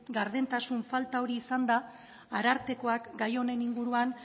gardentasun falta hori izan da arartekoak gai honen inguruan